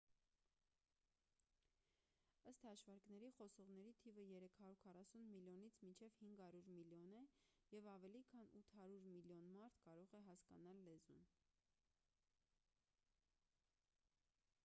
ըստ հաշվարկների խոսողների թիվը 340 միլիոնից մինչև 500 միլիոն է և ավելի քան 800 միլիոն մարդ կարող է հասկանալ լեզուն